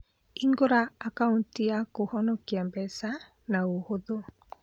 Hingũra akauti ya kũhonokia mbeca na ũhũthũ.